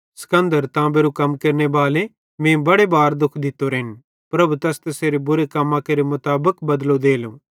सिकन्दर ताम्बेरू कम केरनेबाले मीं बड़े बारे दुःख दित्तोरोए प्रभु तैस तैसेरे बुरे कम्मां केरे मुताबिक बदलो देलो